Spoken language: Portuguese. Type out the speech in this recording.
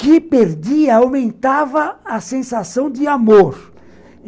que perdia, aumentava a sensação de amor.